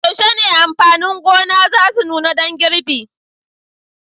Yaushe ne amfanin gona za su nuna dan girbi?